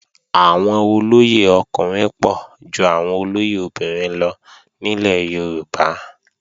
Àwọn olóyè ọkùnrin pọ̀ ju àwọn olóyè obìnrin lọ nílẹ̀ Yorùbá